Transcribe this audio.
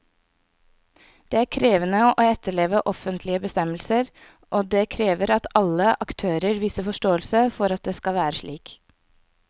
Det er krevende å etterleve offentlige bestemmelser, og det krever at alle aktørene viser forståelse for at det skal være slik.